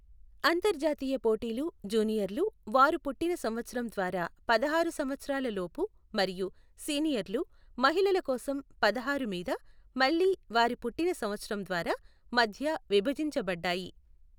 అంతర్జాతీయ పోటీలు, జూనియర్లు, వారి పుట్టిన సంవత్సరం ద్వారా పదహారు సంవత్సరాల లోపు మరియు సీనియర్లు, మహిళల కోసం పదహారు మీద, మళ్ళీ వారి పుట్టిన సంవత్సరం ద్వారా, మధ్య విభజించబడ్డాయి .